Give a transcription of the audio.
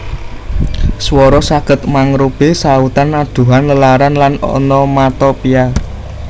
Swara saged mangrupi sautan adhuhan lelaran lan onomatopia